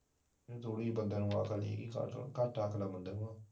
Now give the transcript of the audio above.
ਬੰਦੇ ਨੂੰ ਅਕਲ ਨੀ ਘੱਟ ਐ ਬੰਦਿਆਂ ਨੂੰ ਅਕਲ